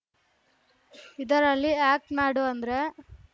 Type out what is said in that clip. ಇದರಲ್ಲಿ ಆ್ಯಕ್ಟ್ ಮಾಡು ಅಂದ್ರೆ